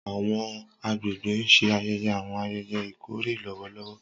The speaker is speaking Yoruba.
Awọn agbegbe n ṣe ayẹyẹ awọn ayẹyẹ ikore lọwọlọwọ.